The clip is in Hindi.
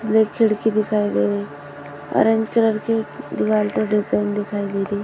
ये खिड़की दिखाई दे रही है ऑरेंज कलर की दीवार पर डिजाइन दिखाई दे रही है।